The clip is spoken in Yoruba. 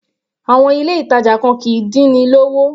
Àwọn ilé ìtàjà kan kìí dín ni lówó.